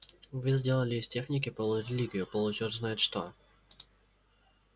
вы сделали из техники полурелигию получёрт знает что